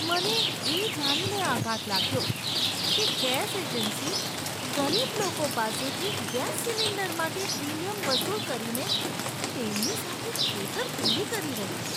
મને એ જાણીને આઘાત લાગ્યો કે ગેસ એજન્સી ગરીબ લોકો પાસેથી ગેસ સિલિન્ડર માટે પ્રીમિયમ વસૂલ કરીને તેમની સાથે છેતરપિંડી કરી રહી છે.